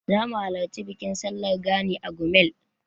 Zamu halarci bikin sallar Gani a Gumel.